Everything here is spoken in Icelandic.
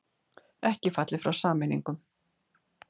Ekki fallið frá sameiningum